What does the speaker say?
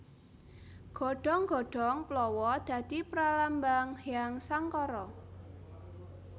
Godhong godhong plawa dadi pralambang Hyang Sangkara